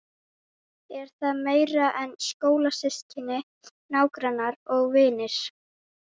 Er það meira en skólasystkini, nágrannar og vinir?